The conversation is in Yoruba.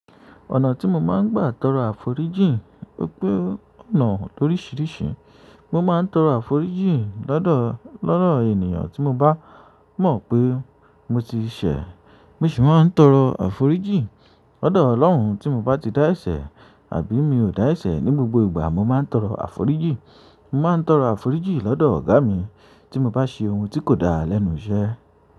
Ọ̀nà tí mo máa ń gbà torọ àforíjì pé pé ọ̀nà oríṣiríṣi, mo máa ń torọ àforíjì lọ́dọ̀, lọ́dọ̀ ènìyàn tí mo bá mọ pe mo ti ṣe, mo ṣì ma ń tọrọ àforíjì lọ́dọ̀ Ọlọhun ti mo ba ti dá ẹsẹ̀ àbí mi ò da ẹsẹ, ní gbogbo ìgbà mo má ń tọrọ àforíjì mo má ń tọrọ àforíjì lọdọ oga mi ti mo ṣe un tí kò dá léni iṣẹ́.